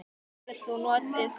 Kaupir þú notuð föt?